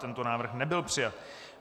Tento návrh nebyl přijat.